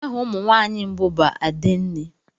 Aha ụmụ nwanyị mbụ bụ adenne.